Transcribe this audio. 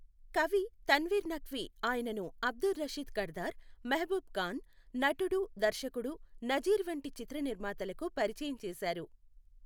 కవి తన్వీర్ నఖ్వీ ఆయనను అబ్దుర్ రషీద్ కర్దార్, మెహబూబ్ ఖాన్, నటుడు దర్శకుడు నజీర్ వంటి చిత్ర నిర్మాతలకు పరిచయం చేశారు.